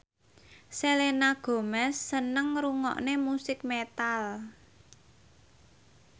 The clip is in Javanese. Selena Gomez seneng ngrungokne musik metal